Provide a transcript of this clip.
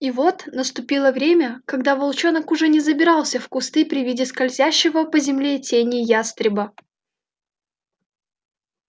и вот наступило время когда волчонок уже не забирался в кусты при виде скользящего по земле тени ястреба